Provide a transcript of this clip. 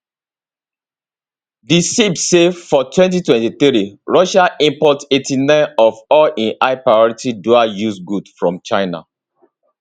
di ceip say for 2023 russia import 89 of all im high priority dualuse goods from china